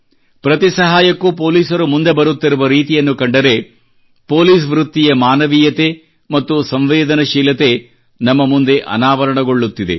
ಪ್ರತಿ ಸಹಾಯಕ್ಕೂ ಪೊಲೀಸರು ಮುಂದೆ ಬರುತ್ತಿರುವ ರೀತಿಯನ್ನು ಕಂಡರೆ ಪೋಲಿಸ್ ವೃತ್ತಿಯ ಮಾನವೀಯತೆ ಮತ್ತು ಸಂವೇದನಶೀಲತೆಯು ನಮ್ಮ ಮುಂದೆ ಅನಾವರಣಗೊಳ್ಳುತ್ತಿದೆ